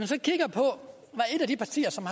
af de partier som